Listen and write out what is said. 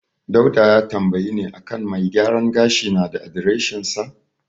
Dauda ya tambayi ne a kan mai gyaran gashi na da adireshinsa.